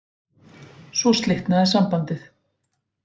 Svo slitnaði sambandið